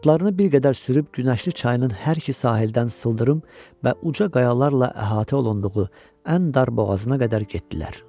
Atlarını bir qədər sürüb Günəşli çayının hər iki sahildən sıldırım və uca qayalarla əhatə olunduğu ən dar boğazına qədər getdilər.